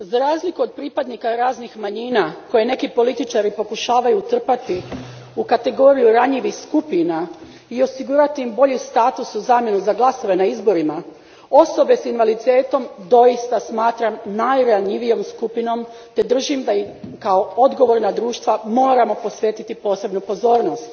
Gospođo predsjednice, za razliku od pripadnika raznih manjina koje neki političari pokušavaju utrpati u kategoriju ranjivih skupina i osigurati im bolji status u zamjenu za glasove na izborima, osobe s invaliditetom doista smatram najranjivijom skupinom te držim da im kao odgovorna društva moramo posvetiti pozornost.